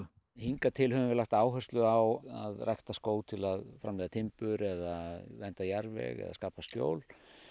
hingað til höfum við lagt áherslu á að rækta skóg til að framleiða timbur eða vernda jarðveg eða skapa skjól